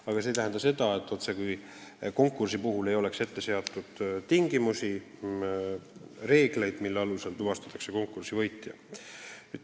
Aga see ei tähenda seda, et konkursi puhul ei ole seatud tingimusi ega kehti reeglid, mille alusel tuvastatakse konkursi võitja.